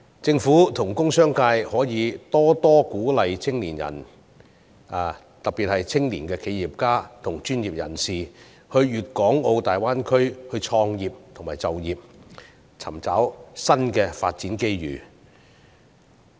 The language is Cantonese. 政府和工商界可以多鼓勵青年人，特別是青年企業家和專業人士，到粵港澳大灣區創業和就業，尋找新的發展機遇。